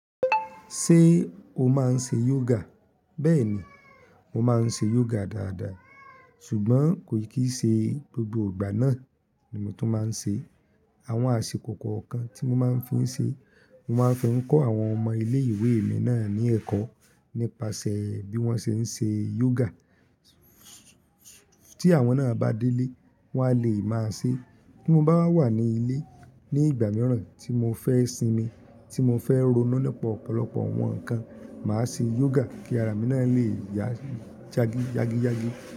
Ṣé o máa ń ṣe yoga? Bẹ́ẹ̀ ni, mo máa ń ṣe yoga dáadáa ṣùgbọ́n kò kìí ṣe gbogbo ìgbà náà ni mo tún máa ń ṣe. Àwọn àsìkò kọ̀ọ̀kan tí mo máa ń fi ń ṣe, mo máa ń fi ń kọ́ àwọn ọmọ ilé ìwé mi náà ní ẹ̀kọ́ nípasẹ̀ bí wọ́n ṣe ń ṣe yoga. Tí àwọn náà bá délé wọ́n á lè máa ṣe. Bí mo bá wà ní ilé ní ìgbà mìíràn tí mo fẹ́ sinmi, tí mo fẹ́ roná lọ́pọ̀ ọ̀pọ̀lọpọ̀ ohun kan, màá ṣe yoga kí ara mi náà lè jagijiagiji.